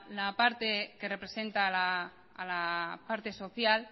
la parte que representa a la parte social